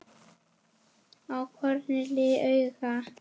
á hvorri hlið duga.